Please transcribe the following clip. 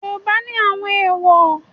Yoruba ni àwọn èwò.